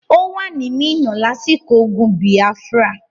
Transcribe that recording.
Ó wà ní Minna lásìkò ogun Biafra.